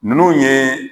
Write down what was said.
Ninnu ye